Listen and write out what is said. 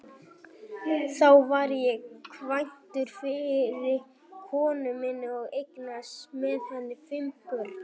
Þá var ég kvæntur fyrri konu minni og eignaðist með henni fimm börn.